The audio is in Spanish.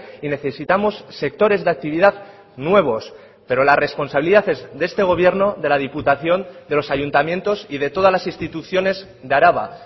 y necesitamos sectores de actividad nuevos pero la responsabilidad es de este gobierno de la diputación de los ayuntamientos y de todas las instituciones de araba